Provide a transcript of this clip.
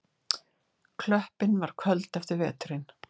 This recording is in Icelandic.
Klöppin var köld eftir veturinn.